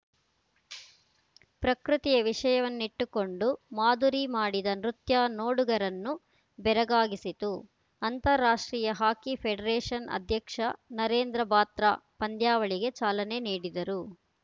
ಪ್ರಕೃತಿಯ ವಿಷಯನ್ನಿಟ್ಟುಕೊಂಡು ಮಾಧುರಿ ಮಾಡಿದ ನೃತ್ಯ ನೋಡುಗರನ್ನು ಬೆರಗಾಗಿಸಿತು ಅಂತಾರಾಷ್ಟ್ರೀಯ ಹಾಕಿ ಫೆಡರೇಷನ್‌ ಅಧ್ಯಕ್ಷ ನರೇಂದ್ರ ಬಾತ್ರಾ ಪಂದ್ಯಾವಳಿಗೆ ಚಾಲನೆ ನೀಡಿದರು